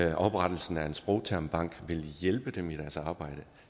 at oprettelsen af en sprogtermbank ville hjælpe dem i deres arbejde